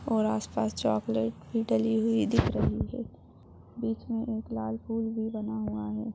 और आसपास चाकलेट भी डाली हुई दिखाई दे रही है बीच में एक लाल फूल भी बना हुआ है।